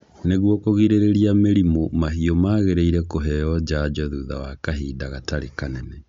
Nĩguo kũrigĩrĩria mĩrimũ mahiũ magĩrĩire kũheo njanjo thutha wa kahinda gatarĩ kanene.